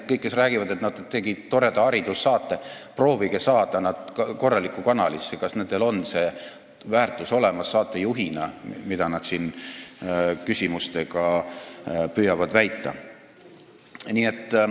Kõik, kes räägivad, et nad tegid toreda haridussaate, proovige saada nad korralikku kanalisse ja vaadake, kas neil on saatejuhina olemas see väärtus, mida nad siin küsimuste käigus püüavad näidata.